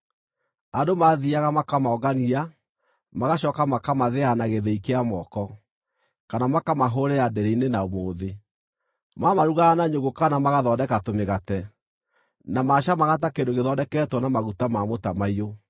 Andũ maathiiaga makamongania, magacooka makamathĩa na gĩthĩi kĩa moko, kana makamahũrĩra ndĩrĩ-inĩ na mũũthĩ. Maamarugaga na nyũngũ kana magathondeka tũmĩgate. Na maacamaga ta kĩndũ gĩthondeketwo na maguta ma mũtamaiyũ.